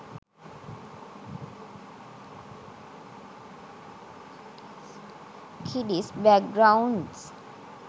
kidies backgrounds